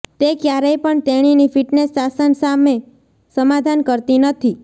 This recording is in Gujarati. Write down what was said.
તે ક્યારેય પણ તેણીની ફિટનેસ શાસન સાથે સમાધાન કરતી નથી